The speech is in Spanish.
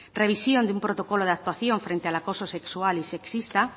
revisión de un protocolo de actuación frente al acoso sexual y sexista